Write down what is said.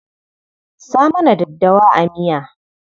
Sa mana daddawa a miya.